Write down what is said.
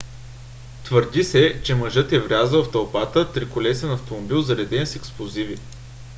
твърди се че мъжът е врязал в тълпата триколесен автомобил зареден с експлозиви